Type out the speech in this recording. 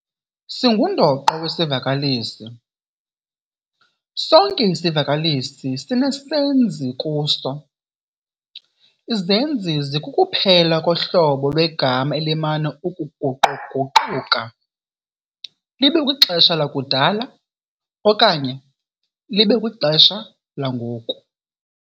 Singundoqo wesivakalisi- sonke isivakalisi sinesenzi kuso. Izenzi zikukuphela kohlobo lwegama elimana ukuguqu-guquka libe kwixesha lakudala okanye libe kwixesha langoku. .